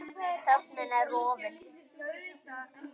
Þögnin er rofin.